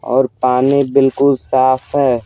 और पानी बिल्कुल साफ है।